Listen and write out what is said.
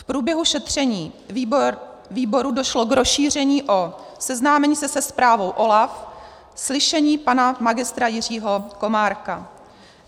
V průběhu šetření výboru došlo k rozšíření o seznámení se se zprávou OLAF, slyšení pana magistra Jiřího Komárka.